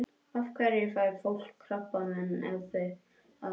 Af hverju fær fólk krabbamein ef það reykir?